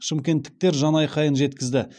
шымкенттіктер жанайқайын жеткізді